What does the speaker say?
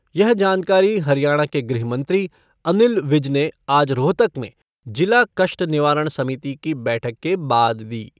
यह जानकारी हरियाणा के गृह मंत्री अनिल विज ने आज रोहतक में जिला कष्ट निवारण समिति की बैठक के बाद दी।